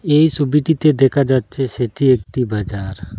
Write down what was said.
এই সবিটিতে দেখা যাচ্ছে সেটি একটি বাজার।